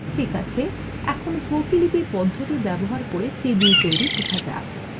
ঠিক আছে এখন প্রতিলিপি পদ্ধতি ব্যবহার করে টেবিল তৈরি শেখা যাক